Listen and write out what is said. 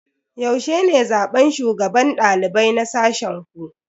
Yaushe ne zaben shugaban dalibai na sashen ku?